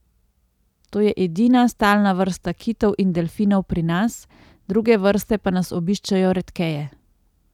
To je edina stalna vrsta kitov in delfinov pri nas, druge vrste pa nas obiščejo redkeje.